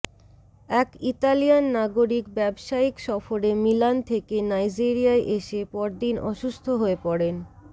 এক ইতালিয়ান নাগরিক ব্যবসায়িক সফরে মিলান থেকে নাইজেরিয়ায় এসে পর দিন অসুস্থ হয়ে পড়েন